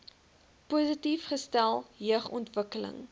positief gestel jeugontwikkeling